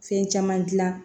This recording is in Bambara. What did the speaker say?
Fɛn caman gilan